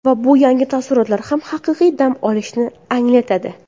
Va bu yangi taassurotlar hamda haqiqiy dam olishni anglatadi.